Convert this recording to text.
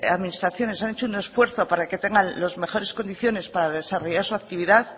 las administraciones han hecho un esfuerzo para que tengan las mejores condiciones para desarrollar su actividad